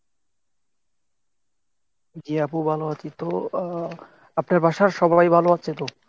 জি আপু ভালো আছি, তো আহ আপনার বাসার সবাই ভালো আছে তো?